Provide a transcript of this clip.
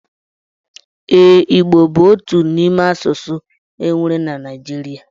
Eee, igbo bu otu imé asụsụ enwere na Naijiria.